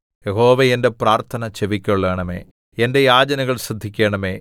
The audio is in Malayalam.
യഹോവേ എന്റെ പ്രാർത്ഥന ചെവിക്കൊള്ളണമേ എന്റെ യാചനകൾ ശ്രദ്ധിക്കണമേ